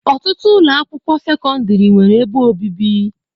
Ọtụtụ ụlọ akwụkwọ sekọndrị nwere ebe obibi.